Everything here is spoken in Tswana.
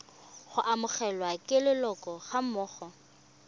go amogelwa ke leloko gammogo